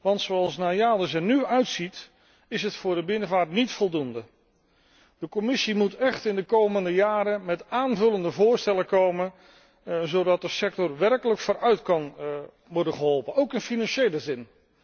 want zoals NAIADES er nu uitziet, is het voor de binnenvaart niet voldoende. De Commissie moet echt in de komende jaren met aanvullende voorstellen komen, zodat de sector werkelijk vooruit kan worden geholpen, ook in financiële zin.